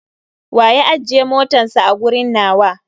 Wa ya ajje motatns a a gurin nawa?